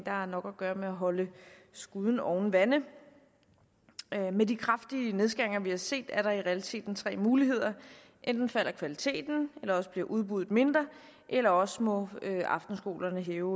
har nok at gøre med at holde skuden oven vande med de kraftige nedskæringer vi har set er der i realiteten tre muligheder enten falder kvaliteten eller også bliver udbuddet mindre eller også må aftenskolerne hæve